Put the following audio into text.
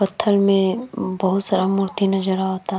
पत्थल में बहुत सारा मूर्ति नजर अवता।